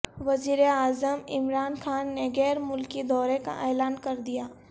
وزیراعظم عمران خان نے غیر ملکی دورے کا اعلان کردیا